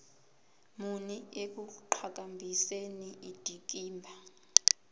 muni ekuqhakambiseni indikimba